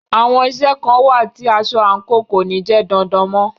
Àwọn iṣẹ́ kàn wà tí aṣọ /àǹkò kò ní jẹ́ dandan mọ́.